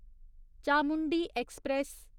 Chamundi express